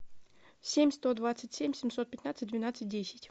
семь сто двадцать семь семьсот пятнадцать двенадцать десять